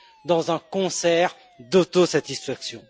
dans un concert d'autosatisfaction?